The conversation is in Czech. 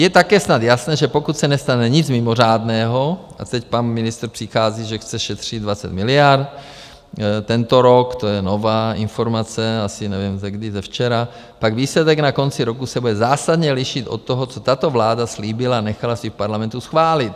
Je také snad jasné, že pokud se nestane nic mimořádného - a teď pan ministr přichází, že chce šetřit 20 miliard tento rok, to je nová informace, asi nevím, ze kdy, ze včera - pak výsledek na konci roku se bude zásadně lišit od toho, co tato vláda slíbila a nechala si v Parlamentu schválit.